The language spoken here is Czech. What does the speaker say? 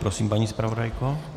Prosím, paní zpravodajko.